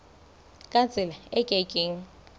ka tsela e ke keng